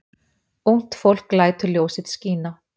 Ungt fólk lætur ljós sitt skína